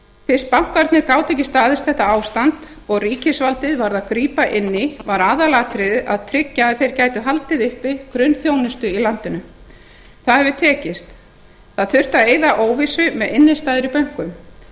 fyrst bankarnir gátu ekki staðist þetta ástand og ríkisvaldið varð að grípa inn í var aðalatriðið að tryggja að þeir gætu haldið uppi grunnþjónustu í landinu það hefur tekist það þurfti að eyða óvissu með innistæður í bönkum